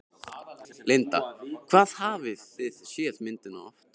Linda: Hvað hafið þið séð myndina oft?